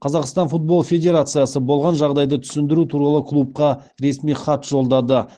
қазақстан футбол федерациясы болған жағдайды түсіндіру туралы клубқа ресми хат жолдады